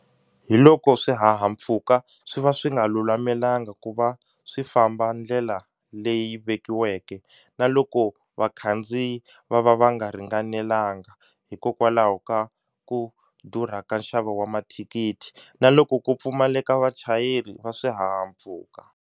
Hi loko swihahampfhuka swi va swi nga lulamelangi ku va swi famba ndlela leyi vekiweke, na loko vakhandziyi va va va nga ringanelanga hikokwalaho ka ku durha ka nxavo wa mathikithi na loko ku pfumaleka vachayeri va swihahampfhuka.